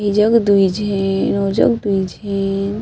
एजग दुई झीन ओ जग दुई झीन--